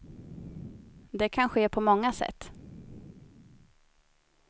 Det kan ske på många sätt.